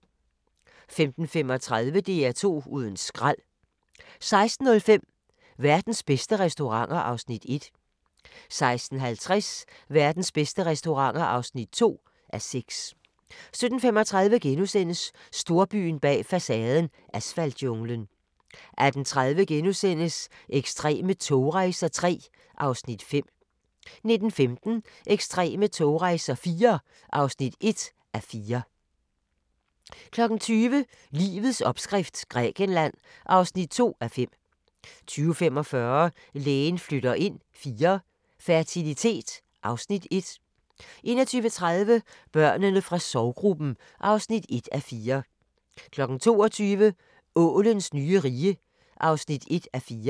15:35: DR2 uden skrald 16:05: Verdens bedste restauranter (1:6) 16:50: Verdens bedste restauranter (2:6) 17:35: Storbyen bag facaden – asfaltjunglen * 18:30: Ekstreme togrejser III (Afs. 5)* 19:15: Ekstreme togrejser IV (1:4) 20:00: Livets opskrift – Grækenland (2:5) 20:45: Lægen flytter ind IV – fertilitet (Afs. 1) 21:30: Børnene fra sorggruppen (1:4) 22:00: Ålens nye rige (1:4)